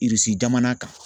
jamana kan.